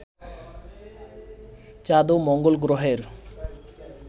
চাঁদ ও মঙ্গল গ্রহের